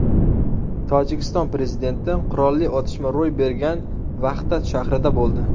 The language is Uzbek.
Tojikiston prezidenti qurolli otishma ro‘y bergan Vahdat shahrida bo‘ldi.